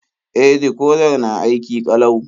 E, dikodar na aiki ƙalau.